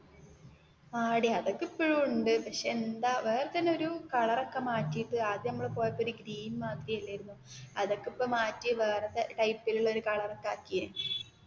ആടി അതൊക്കേ ഇപ്പോഴും ഉണ്ട് പക്ഷേ എന്താ വേറേ തന്നേ ഒരു കളർ ഒക്കേ മാറ്റിയിട്ട് ആദ്യം നമ്മൾ പോയപ്പോൾ ഒരു ഗ്രീൻ മാതിരി അല്ലായിരുന്നോ അതൊക്കേ ഇപ്പോ മാറ്റി ഇപ്പോ വേറേ ടൈപ്പിൽ ഉള്ള ഒരു കളർ ഒക്കേ ആക്കി